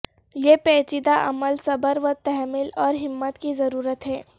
یہ پیچیدہ عمل صبر و تحمل اور ہمت کی ضرورت ہے